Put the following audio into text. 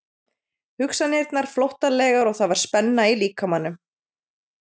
Hugsanirnar flóttalegar og það var spenna í líkamanum.